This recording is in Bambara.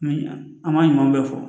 An ma ɲuman bɛɛ fɔ